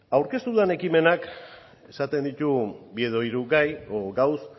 aurkeztu dudan ekimenak esaten ditu bi edo hiru gai edo gauza